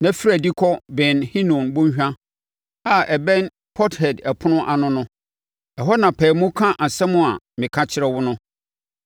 na firi adi kɔ Ben Hinom Bɔnhwa a ɛbɛn Pɔthɛd Ɛpono ano no. Ɛhɔ na pae mu ka nsɛm a meka kyerɛ wo no,